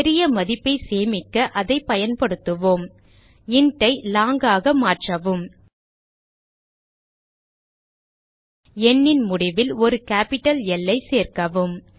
பெரிய மதிப்பை சேமிக்க அதை பயன்படுத்துவோம் இன்ட் ஐ லாங் ஆக மாற்றவும் எண்ணின் முடியில் ஒரு கேப்பிட்டல் ல் சேர்க்கவும்